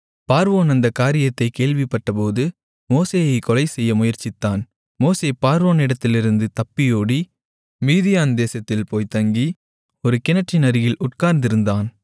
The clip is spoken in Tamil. பார்வோன் அந்தக் காரியத்தைக் கேள்விப்பட்டபோது மோசேயைக் கொலைசெய்ய முயற்சித்தான் மோசே பார்வோனிடத்திலிருந்து தப்பியோடி மீதியான் தேசத்தில் போய்த் தங்கி ஒரு கிணற்றின் அருகில் உட்கார்ந்திருந்தான்